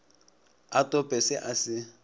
a tope se a se